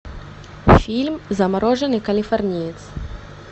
фильм замороженный калифорниец